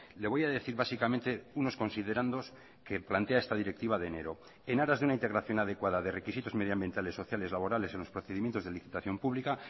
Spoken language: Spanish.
le voy a decir básicamente unos considerandos que plantea esta directiva de enero en aras de una integración adecuada de requisitos medioambientales sociales laborales en los procedimientos de licitación pública